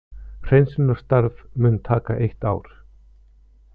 Hreinsunarstarf mun taka eitt ár